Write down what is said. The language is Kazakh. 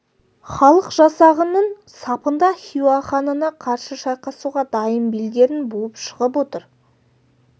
халық жасағының сапында хиуа ханына қарсы шайқасуға дайын белдерін буып шығып отыр